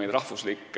Meie rahvuslik